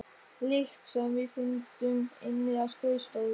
lykt sem við fundum inni á skrifstofu.